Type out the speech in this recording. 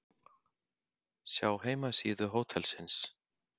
Sjá heimasíðu hótelsins